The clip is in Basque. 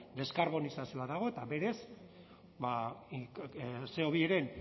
deskarbonizazioa dago eta berez ce o biren